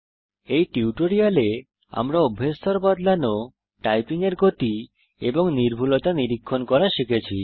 এই টিউটোরিয়ালে আমরা অভ্যেস স্তর বদলানো টাইপিং এর গতি এবং নির্ভুলতা নিরীক্ষণ করা শিখেছি